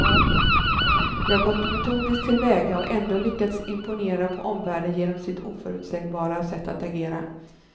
De har gått metodiskt till väga och ändå lyckats imponera på omvärlden genom sitt oförutsägbara sätt att agera.